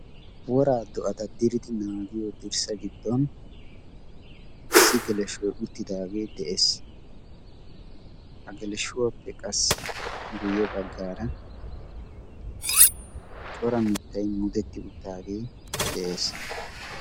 Woraa do'ata diridi naagiyo dirssa giddon issi geleshoi uttidaagee de'ees. ha geleshuwaappe qassi guyye baggaara cora mittai muudetti uttaagee de'ees.